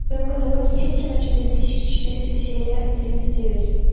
в твоем каталоге есть кино четыре тысячи четыреста серия тридцать девять